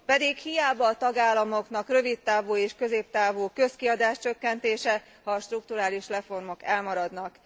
Pedig hiába a tagállamoknak rövidtávú és középtávú közkiadás csökkentése, ha a strukturális reformok elmaradnak.